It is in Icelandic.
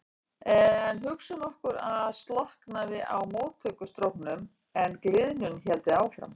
En hugsum okkur að slökknaði á möttulstróknum en gliðnun héldi áfram.